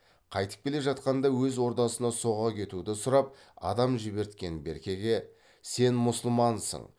қайтып келе жатқанда өз ордасына соға кетуді сұрап адам жіберткен беркеге сен мұсылмансың